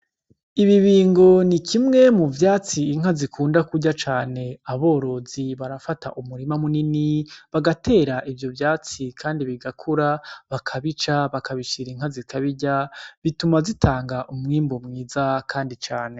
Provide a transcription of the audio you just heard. Imibingo ni kimwe mu vyatsi inka zikunda kurya cane. Aborozi barafata umurima munini bagatera ivyo vyatsi kandi bigakura, bakabica bakabishira inka zitabirya. Bituma zitanga umwimbu mwiza kandi cane.